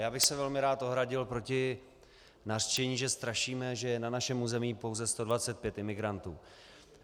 Já bych se velmi rád ohradil proti nařčení, že strašíme, že je na našem území pouze 125 imigrantů.